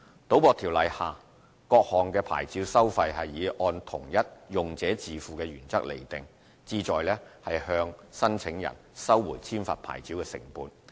《賭博條例》下各項牌照收費是以按同一"用者自付"的原則釐定，旨在向申請人收回簽發牌照的成本。